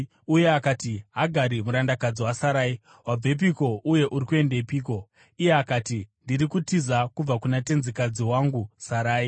Uye akati, “Hagari, murandakadzi waSarai, wabvepiko, uye uri kuendepiko?” Iye akati, “Ndiri kutiza kubva kuna tenzikadzi wangu Sarai.”